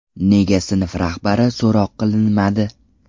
Nega sinf rahbari so‘roq qilinmadi.